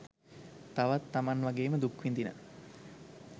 තවත් තමන් වගේම දුක්විඳින